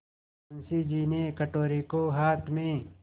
मुंशी जी ने कटोरे को हाथ में